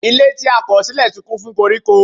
Ilé tí a kọ̀ sílẹ̀ ti kún fún koríko.